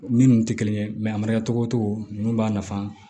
Min tɛ kelen ye a mara cogo cogo ninnu b'a nafa